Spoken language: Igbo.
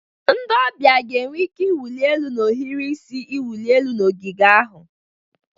Ndị ọbịa ga-enwe ike ịwụli elu na ohiri isi iwụli elu na ogige ahụ.